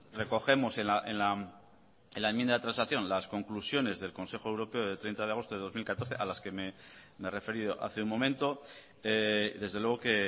recogemos en la enmienda de transacción las conclusiones del consejo europeo de treinta de agosto de dos mil catorce a las que me he referido hace un momento desde luego que